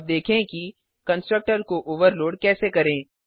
अब देखें कि कंस्ट्रक्टर को ओवरलोड कैसे करें